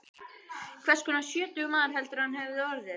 Hvers konar sjötugur maður heldurðu að hann hefði orðið?